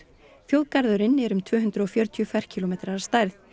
þjóðgarðurinn er um tvö hundruð og fjörutíu ferkílómetrar að stærð